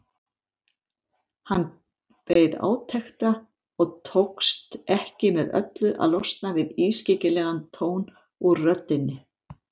Hann beið átekta og tókst ekki með öllu að losna við ískyggilegan tón úr röddinni.